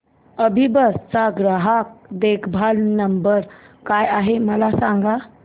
अभिबस चा ग्राहक देखभाल नंबर काय आहे मला सांगाना